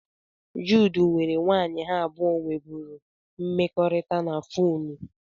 Jude nwere nwanyị ha abụọ nwebụrụ mmekọrịta na fonu